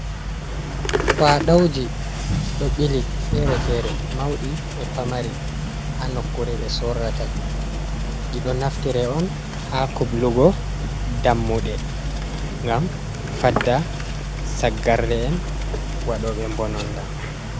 Kwaɗawji, ɗo ɓili feere-feere, mawɗi e pamari haa nokkure ɓe sorrata ɗi, ɗi ɗo naftire on haa kublugo dammuɗe ngam fadda saggarle'en waɗooɓe mbononnda.